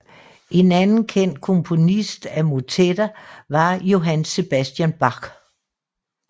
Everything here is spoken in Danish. En anden kendt komponist af motetter var Johann Sebastian Bach